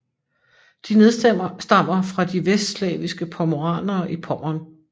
De nedstammer fra de vestslaviske pomoranere i Pommern